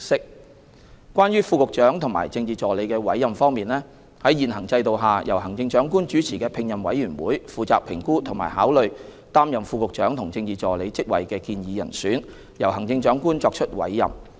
三關於副局長和政治助理的委任方面，在現行制度下，由行政長官主持的聘任委員會負責評估和考慮擔任副局長和政治助理職位的建議人選，由行政長官作出委任。